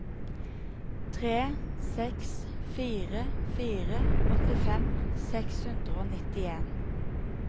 tre seks fire fire åttifem seks hundre og nittien